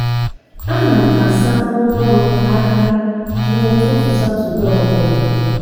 ana m asa ngwa ọrụ aka n'ụtụtụ satọdee ọ bụla.